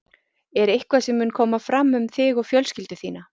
Er eitthvað sem mun koma fram um þig og fjölskyldu þína?